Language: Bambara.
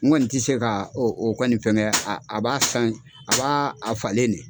N kɔni tɛ se ka o o kɔni fɛnkɛ a b'a san a b'a falen de.